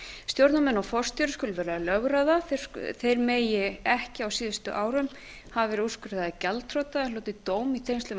stjórnarmenn og forstjóri skulu vera lögráða þeir mega ekki á síðustu árum hafa verið úrskurðaðir gjaldþrota eða hlotið dóm í tengslum við